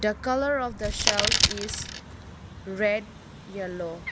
the colour of the shelf is red yellow.